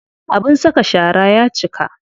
Abin saka shara ya cika.